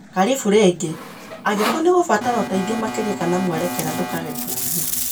Karĩbũ rĩngĩ. Angĩkorwo nĩ ũgũbatara ũteithio makĩria kana mwerekera, ndũkage kũũria.